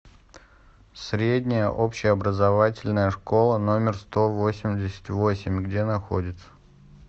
средняя общеобразовательная школа номер сто восемьдесят восемь где находится